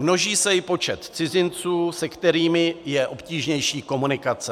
Množí se i počet cizinců, se kterými je obtížnější komunikace.